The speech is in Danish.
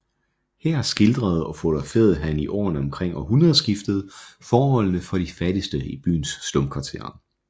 Her skildrede og fotograferede han i årene omkring århundredskiftet forholdene for de fattigste i byens slumkvarterer